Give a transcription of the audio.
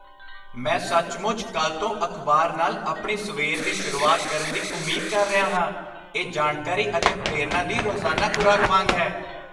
ਮੈਂ ਸੱਚਮੁੱਚ ਕੱਲ੍ਹ ਤੋਂ ਅਖਬਾਰ ਨਾਲ ਆਪਣੀ ਸਵੇਰ ਦੀ ਸ਼ੁਰੂਆਤ ਕਰਨ ਦੀ ਉਮੀਦ ਕਰ ਰਿਹਾ ਹਾਂ। ਇਹ ਜਾਣਕਾਰੀ ਅਤੇ ਪ੍ਰੇਰਨਾ ਦੀ ਰੋਜ਼ਾਨਾ ਖੁਰਾਕ ਵਾਂਗ ਹੈ।